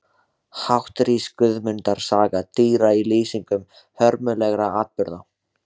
Hátt rís Guðmundar saga dýra í lýsingum hörmulegra atburða.